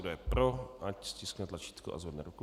Kdo je pro, ať stiskne tlačítko a zvedne ruku.